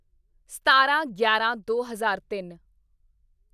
ਸਤਾਰਾਂਗਿਆਰਾਂਦੋ ਹਜ਼ਾਰ ਤਿੰਨ